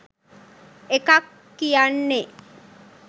එකක් කියන්නේ